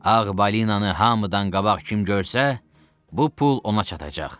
Ağ balinanı hamıdan qabaq kim görsə, bu pul ona çatacaq.